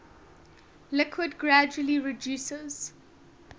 liquid gradually reduces